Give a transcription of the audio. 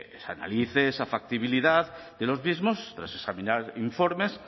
bueno pues se analice esa factibilidad de los mismos tras examinar informes